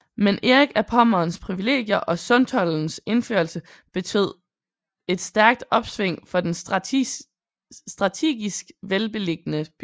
Men Erik af Pommerns privilegier og Sundtoldens indførelse betyd et stærkt opsving for den stratigisk velbeliggende by